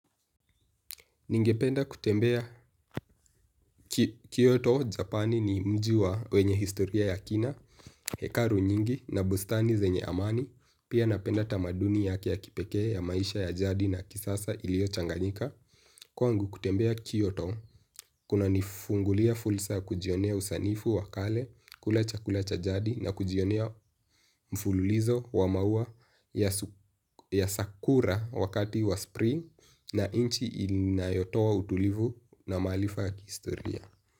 Ningependa kutembea Kyoto, Japani ni mji wa wenye historia ya kina, hekalu nyingi na bustani zenye amani, pia napenda tamaduni yake ya kipekee ya maisha ya jadi na kisasa iliochanganyika. Kwangu kutembea Kyoto, kunanifungulia fursa ya kujionea usanifu wa kale, kula chakula cha jadi na kujionea mfululizo wa maua ya sakura wakati wa spring na nchi inayotoa utulivu na maarifa kihistoria.